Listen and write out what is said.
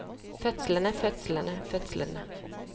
fødslene fødslene fødslene